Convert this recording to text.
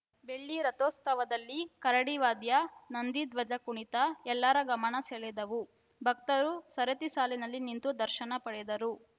ಬೆಳ್ಳಿ ರಥೋತ್ಸವದಲ್ಲಿ ಕರಡಿ ವಾದ್ಯ ನಂದೀಧ್ವಜ ಕುಣಿತ ಎಲ್ಲರ ಗಮನ ಸೆಳೆದವು ಭಕ್ತರು ಸರತಿ ಸಾಲಿನಲ್ಲಿ ನಿಂತು ದರ್ಶನ ಪಡೆದರು